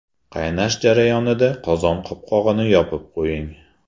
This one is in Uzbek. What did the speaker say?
Qaynash jarayonida qozon qopqog‘ini yopib qo‘ying.